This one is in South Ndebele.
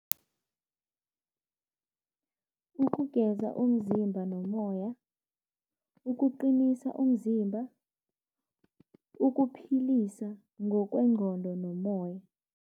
Ukugeza umzimba nomoya, ukuqinisa umzimba, ukuphilisa ngokwengqondo nomoya.